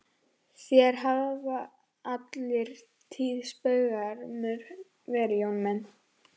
Þér hafið alla tíð spaugsamur verið Jón minn.